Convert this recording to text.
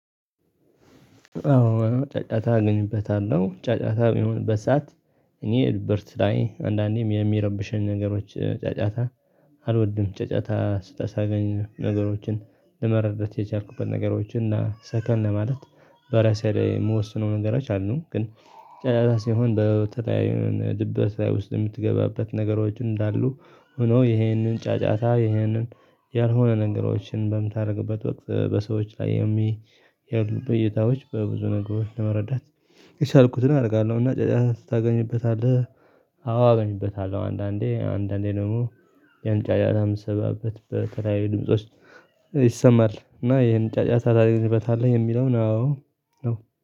አዎ ጫጫታ እገኝበታለሁ ጫጫታ የሆነ በሰአት እኔ ኤልበርት ላይ አንዳንዴም የሚረብሸኝ ነገሮች ጫጫታ። አልወድም ጫጫታ ስህ ሳገኝ ነገሮችን ለመረዳት የቻልኩበት ነገሮችን እና ሰከን ለማለት በራሴ ላይ የምወስነው ነገሮች አሉ። ግን ጫጫታ ሲሆን በተያዩ ድብረት ላይ ውስጥ የምትገባበት ነገሮች እንዳሉ። ሆኖ ይሄንን ጫጫታ ይሄንን ያልሆነ ነገሮችን በምታደርግበት ወቅት በሰዎች ላይ የሚሄዱ በእይታዎች በብዙ ነገሮች ለመረዳት የቻልኩትን አደርጋለሁና ጫጫታ ስታገኝበታለህ? አዎ አገኝበታለሁ። አንዳንዴ አንዳንዴ ደግሞ የሆነ ጫጫታ ምትሰማበት በተለያዩ ድምጾች። ይሰማል እና ይሄን ጫጫታ ታገኝበታለህ የሚለው አዎ ነው